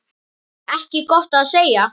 Ekki gott að segja.